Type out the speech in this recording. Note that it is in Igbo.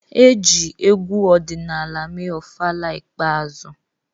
E ji egwu ọdịnala mee ofala ikpeazụ.